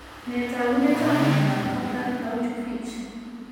Nee taakunetab myondap Kaplan plauchu Fitch?